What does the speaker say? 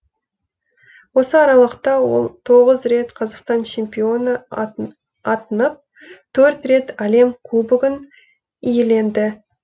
осы аралықта ол тоғыз рет қазақстан чемпионы атынып төрт рет әлем кубогын иеленді